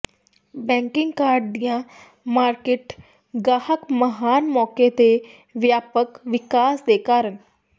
banking card ਦੀ market ਗਾਹਕ ਮਹਾਨ ਮੌਕੇ ਦੇ ਵਿਆਪਕ ਵਿਕਾਸ ਦੇ ਕਾਰਨ